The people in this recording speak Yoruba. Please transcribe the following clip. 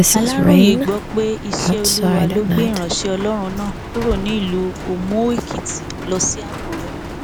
aláròye gbọ pé iṣẹ olúwa ló gbé ìránṣẹ ọlọrun náà kúrò ní ìlú òmùóèkìtì lọ sí àkùrẹ